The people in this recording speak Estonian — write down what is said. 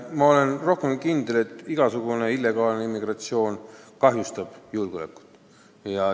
Ma olen rohkem kui kindel, et igasugune illegaalne immigratsioon kahjustab julgeolekut.